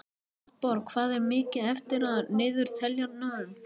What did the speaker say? Hafborg, hvað er mikið eftir af niðurteljaranum?